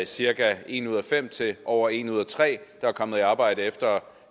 cirka en ud af fem til over en ud af tre der er kommet i arbejde efter